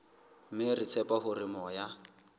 mme re tshepa hore moya